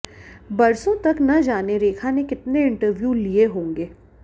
बरसों तक न जाने रेखा ने कितने इंटरव्यू लिए होंगे